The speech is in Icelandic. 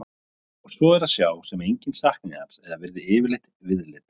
Og svo er að sjá sem enginn sakni hans eða virði yfirleitt viðlits.